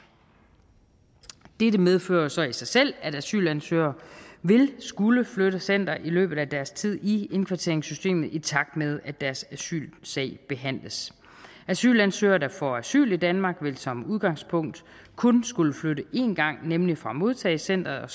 dette medfører så i sig selv at asylansøgere vil skulle flytte center i løbet af deres tid i indkvarteringssystemet i takt med at deres asylsag behandles asylansøgere der får asyl i danmark vil som udgangspunkt kun skulle flytte én gang nemlig fra modtagecenteret